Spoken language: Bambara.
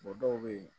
dɔw bɛ yen